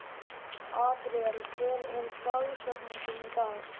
Adríel, hver er dagsetningin í dag?